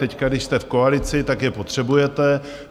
Teď, když jste v koalici, tak je potřebujete.